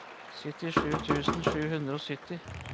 syttisju tusen sju hundre og sytti